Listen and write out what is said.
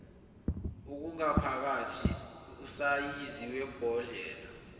okungaphakathi usayizi webhodlela